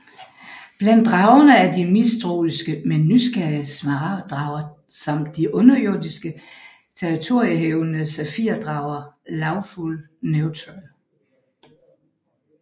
Blandt dragerne er de mistroiske men nysgerrige smaragd drager samt de underjordiske territoriehævdende safir drager Lawful Neutral